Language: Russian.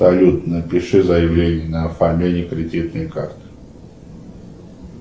салют напиши заявление на оформление кредитной карты